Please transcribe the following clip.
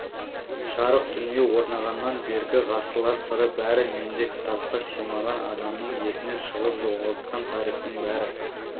жарық дүние орнағаннан бергі ғасырлар сыры бәрі менде кітапқа сыймаған адамның есінен шығып жоғалған тарихтың бәрі